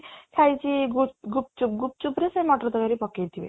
ଖାଇଛି ଗୁପଚୁପ, ଗୁପଚୁପ ରେ ସେ ମଟର ତରକାରୀ ପକେଇଥିବେ